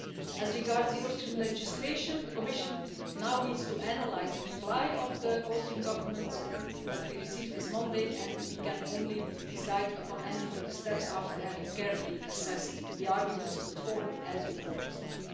As regards the Austrian legislation, the Commission now needs to analyse the reply of the Austrian Government that we received this Monday, and we can only decide upon any further steps after having carefully assessed the arguments put forward, as we always do.